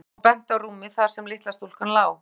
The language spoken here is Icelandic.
Jón og benti á rúmið þar sem litla stúlkan lá.